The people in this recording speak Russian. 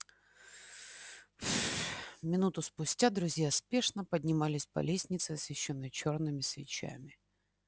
минуту спустя друзья спешно поднимались по лестнице освещённой чёрными свечами